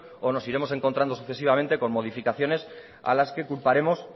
o nos iremos encontrando sucesivamente con modificaciones a las que culparemos